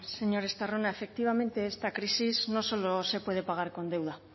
señor estarrona efectivamente esta crisis no solo se puede pagar con deuda